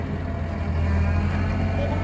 Er Ívar heima?